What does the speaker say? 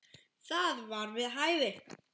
Það var við hæfi.